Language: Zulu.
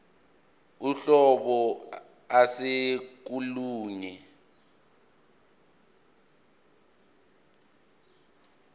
uhlobo ase kolunye